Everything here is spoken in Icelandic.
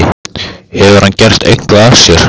Hefur hann gert eitthvað af sér?